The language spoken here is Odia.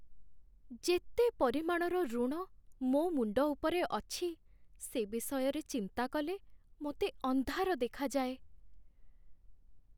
ଯେତେ ପରିମାଣର ଋଣ ମୋ ମୁଣ୍ଡ ଉପରେ ଅଛି, ସେ ବିଷୟରେ ଚିନ୍ତା କଲେ ମୋତେ ଅନ୍ଧାର ଦେଖାଯାଏ।